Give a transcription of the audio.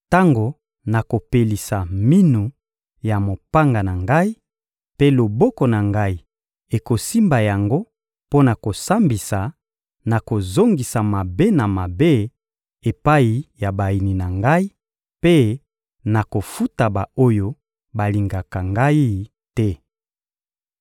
tango nakopelisa minu ya mopanga na Ngai, mpe loboko na Ngai ekosimba yango mpo na kosambisa, nakozongisa mabe na mabe epai ya bayini na Ngai, mpe nakofuta ba-oyo balingaka Ngai te.